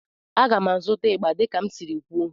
A ga m azụta igba dika m siri kwuo